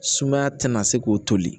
Sumaya tɛna se k'o toli